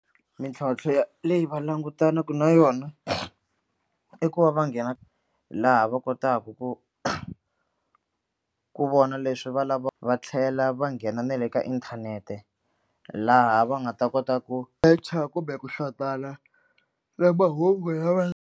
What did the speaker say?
Mintlhontlho ya leyi va langutanaka na yona i ku va va nghena laha va kotaka ku ku vona leswi va lava va tlhela va nghena na le ka inthanete laha va nga ta kota ku secha kumbe ku na mahungu ya va.